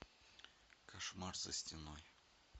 кошмар за стеной